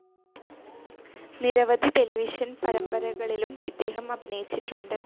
നിരവധി ടെലിവിഷൻ പരമ്പരകളിലും ഇദ്ദേഹം അഭിനയിച്ചിട്ടുണ്ട്.